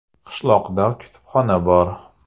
Qishloqda kutubxona bor.